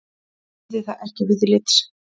Virði það ekki viðlits.